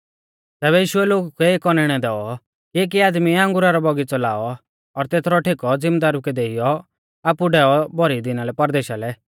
तैबै यीशुऐ लोगु कै एक औनैणौ दैऔ कि एकी आदमीऐ अंगुरा रौ बौगीच़ौ लाऔ और तेथरौ ठेकौ ज़िमदारु कै देइयौ आपु डैऔ भौरी दिना लै परदेशा लै